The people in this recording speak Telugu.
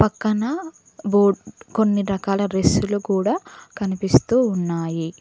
పక్కన కొన్ని రకాల డ్రెస్సులు కూడ కనిపిస్తూ ఉన్నాయి.